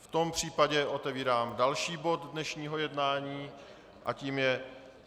V tom případě otevírám další bod dnešního jednání a tím je